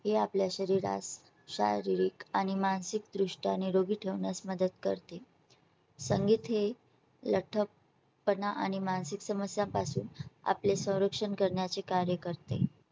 ते आपल्या शरीरास शारीरिक आणि मानसिकदृष्ट्या निरोगी ठेवण्यास मदत करते. संगीत हे लख्खपणा आणि मानसिक समस्यां पासून आपले संरक्षण करण्याचे कार्य करते.